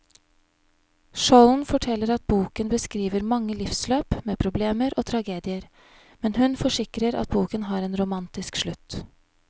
Skjolden forteller at boken beskriver mange livsløp med problemer og tragedier, men hun forsikrer at boken har en romantisk slutt.